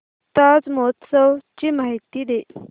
ताज महोत्सव ची माहिती दे